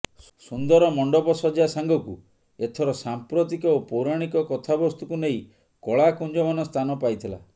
ସୁନ୍ଦର ମଂଡ଼ପ ସଜା ସାଂଗକୁ ଏଥର ସାମ୍ପ୍ରତିକ ଓ ପୈାରାଣୀକ କଥାବସ୍ତୁକୁ ନେଇ କଳାକୁଞମାନ ସ୍ତାନ ପାଇଥିଲା